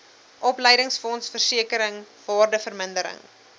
opleidingsfonds versekering waardevermindering